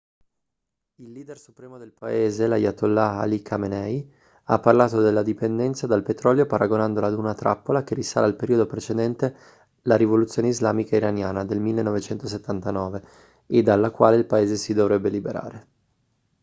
il leader supremo del paese l'ayatollah ali khamenei ha parlato della dipendenza dal petrolio paragonandola ad una trappola che risale al periodo precedente la rivoluzione islamica iraniana del 1979 e dalla quale il paese si dovrebbe liberare